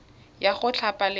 ya go thapa le go